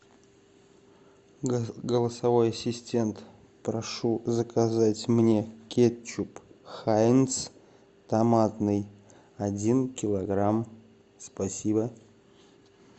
голосовой ассистент прошу заказать мне кетчуп хайнц томатный один килограмм спасибо